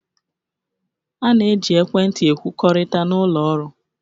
A na-eji ekwentị ekwukọrịta n'ụlọ ọrụ